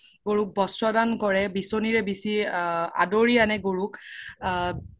গৰুক বস্ত্ৰ দান কৰে বিচ্নিৰে বিচি আদৰি আনে গৰুক আ